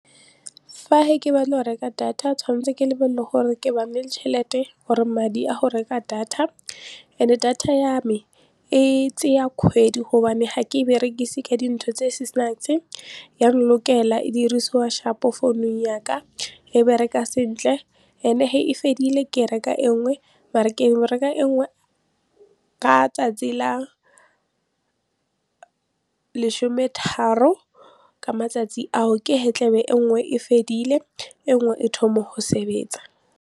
Fa ke batla go reka data tshwanetse ke lebelele gore nne le tšhelete or madi a go reka data and-e data ya me e tseya kgwedi gobane ga ke e berekise ka dintho tse di e dirisiwa sharp-o founung yaka e bereka sentle and-e ge e fedile ke reka engwe mare ke engwe e nngwe ka tsatsi la lesome tharo ka matsatsi ao ke he tlebe e nngwe e fedile engwe e thoma go sebetsa.